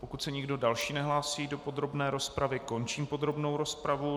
Pokud se nikdo další nehlásí do podrobné rozpravy, končím podrobnou rozpravu.